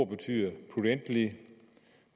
betyder